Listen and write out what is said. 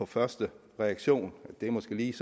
første reaktion synes lige